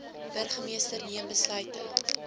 burgermeester neem besluite